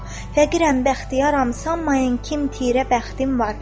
Fəqirəm, bəxtiyaram, sanmayın kim tirə bəxtim var.